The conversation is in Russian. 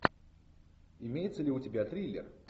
имеется ли у тебя триллер